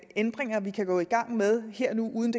ændringer vi kan gå i gang med her og nu uden